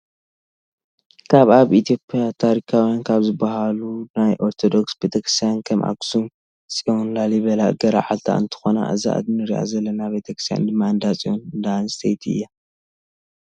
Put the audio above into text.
ካብ ኣብ ኢትዮጰያ ታሪካውያን ካብ ዝበሃሉ ናይ ኦርቶዶክስ ቤተክርስትያን ከም ሓክሱም ፅዮን፣ ላሊበላ፣ ገርዓልታ እንትኮን እዛ እንረኣ ዘለና ቤተክርስትያን ድማ እንዳፅዮን እንዳኣንስቲ እያ።